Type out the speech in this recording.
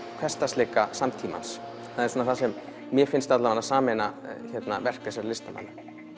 hversdagsleika samtímans það er það sem mér finnst sameina verk þessara listamanna